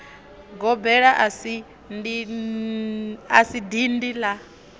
gobela a si dindi la